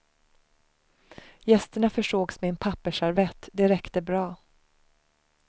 Gästerna försågs med en pappersservett, det räckte bra.